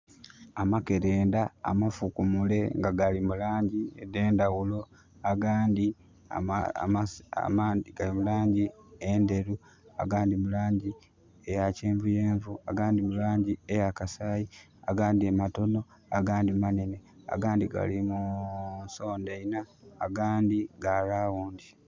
Amakerenda amafukumule nga gali mu langi edhendhaghulo agandi amangi gali mu langi endheru agandi mu langi eya kyenvuyenvu agandi mu langi eyakasayi agandi matono agandi manene agandi gali mu nsonda inha, agandi ga lawundi.